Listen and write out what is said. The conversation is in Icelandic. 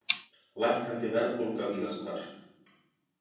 Lækkandi verðbólga víðast hvar